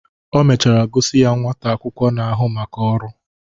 O mechara gosi ya nwata akwụkwọ na-ahụ maka ọrụ